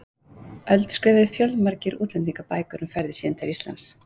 öld skrifuðu fjölmargir útlendingar bækur um ferðir sínar til Íslands.